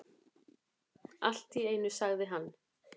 Allt í einu sagði hann: